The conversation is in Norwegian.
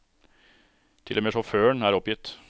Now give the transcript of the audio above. Til og med sjåføren er oppgitt.